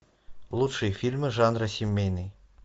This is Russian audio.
лучшие фильмы жанра семейный